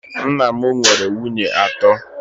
Nna m nwere nwunye atọ